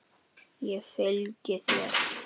Ég fylgi þér!